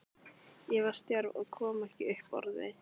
Ég var stjörf og kom ekki upp orði.